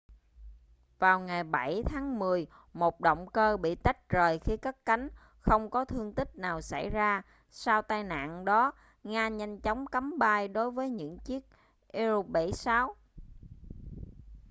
vào ngày 7 tháng 10 một động cơ bị tách rời khi cất cánh không có thương tích nào xảy ra sau tai nạn đó nga nhanh chóng cấm bay đối với những chiếc il-76